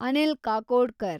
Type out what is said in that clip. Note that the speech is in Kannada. ಅನಿಲ್ ಕಾಕೋಡ್ಕರ್